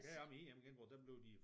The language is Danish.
Heroppe i IM-genbrug der blev de